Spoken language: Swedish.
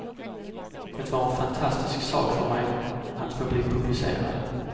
Det var en fantastisk sak för mig att få bli publicerad.